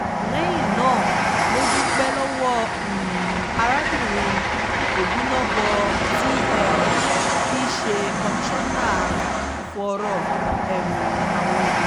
lẹ́yìn náà ló dúpẹ́ lọ́wọ́ arábìnrin obinabo tí um í ṣe kọmíṣánná fọ́rọ́ um àwọn obìnrin